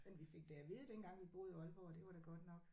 Men vi fik da at vide dengang vi boede i Aalborg at det var da godt nok